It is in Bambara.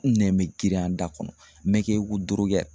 N nɛ bɛ girinya n da kɔnɔ me kɛ i ko